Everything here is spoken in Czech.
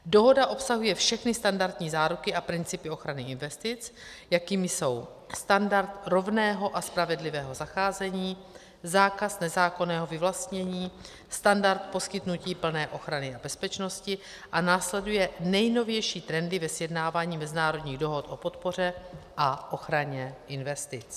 Dohoda obsahuje všechny standardní záruky a principy ochrany investic, jakými jsou: standard rovného a spravedlivého zacházení, zákaz nezákonného vyvlastnění, standard poskytnutí plné ochrany a bezpečnosti a následuje nejnovější trendy ve sjednávání mezinárodních dohod o podpoře a ochraně investic.